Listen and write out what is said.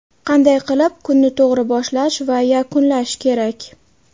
Qanday qilib kunni to‘g‘ri boshlash va yakunlash kerak?.